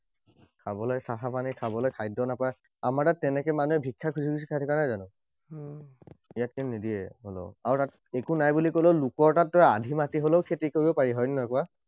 খাৱলৈ চাফা পানী, খাবলৈ খাদ্য নাপায়। আমাৰ তাত তেনেকৈ মানুহে ভিক্ষা খুজি খুজি খাই থকা নাই জানো? ইয়াত কিন্তু নিদিয়ে কোনেও। আৰু তাত একো নাই বুলি কলেও লোকৰ তাততো আধি মাটি হলেও খেতি কৰিব পাৰি, হয় নে নহয় কোৱা?